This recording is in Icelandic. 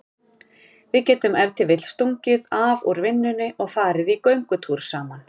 Við getum ef til vill stungið af úr vinnunni og farið í göngutúr saman.